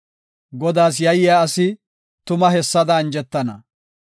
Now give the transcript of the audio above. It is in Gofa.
Godaas yayiya asi tuma hessada anjetana.